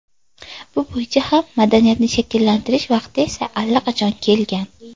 Bu bo‘yicha ham madaniyatni shakllantirish vaqti esa allaqachon kelgan.